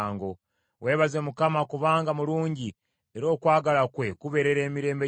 Weebaze Mukama kubanga mulungi; era okwagala kwe kubeerera emirembe gyonna.